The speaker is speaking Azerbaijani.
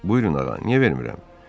Buyurun ağa, niyə vermirəm?